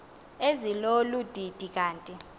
ezilolu didi kanti